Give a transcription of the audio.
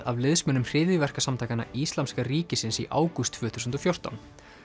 af liðsmönnum hryðjuverkasamtakanna Íslamska ríkisins í ágúst tvö þúsund og fjórtán